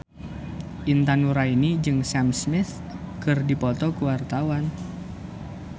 Intan Nuraini jeung Sam Smith keur dipoto ku wartawan